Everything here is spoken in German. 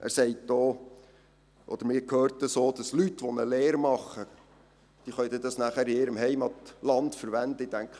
Man hört auch, dass Leute, die eine Lehre absolvieren würden, diesen Abschluss dann in ihrem Heimatland verwenden könnten.